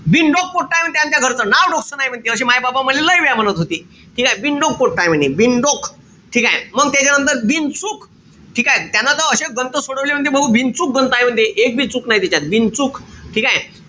बिनडोक पोट्ट आहे म्हणते आमच्या घरच. नाव डोकंस नाई म्हणते अशी माय-बाप मले लय वेया म्हणत होते. ठीकेय? बिनडोक पोट्ट आहे म्हणे. बिनडोक. ठीकेय? मंग त्याच्यानंतर बिनचूक. ठीकेय? त्यानं त अशे गणितं सोडवले म्हणते भाऊ बिनचूक गणितं आहे म्हणते. एक बी चूक नाई त्याच्यात. बिनचूक. ठीकेय?